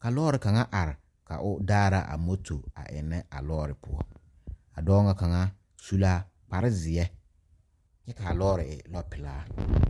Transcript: ka lɔre kaŋa are ka o daara a moto eŋnɛ a lɔɔre poɔ a dɔɔ ŋa kaŋa su la kparezeɛ kyɛ k,a lɔɔre e lɔɔpelaa.